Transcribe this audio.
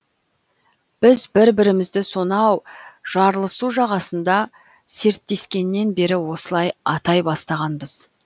біз бір бірімізді сонау жарлысу жағасында серттескеннен бері осылай атай бастағанбыз